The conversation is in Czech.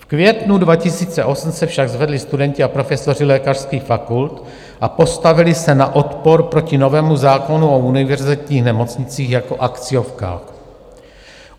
V květnu 2008 se však zvedli studenti a profesoři lékařských fakult a postavili se na odpor proti novému zákonu o univerzitních nemocnicích jako akciovkách.